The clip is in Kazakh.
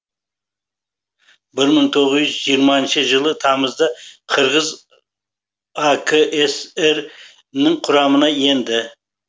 бір мың тоғыз жүз жиырмасыншы жылы тамызда қырғыз акср нің құрамына енді